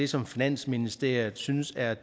som finansministeriet synes er